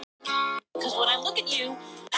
Eins fljótt og hægt er.